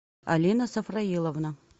алина сафраиловна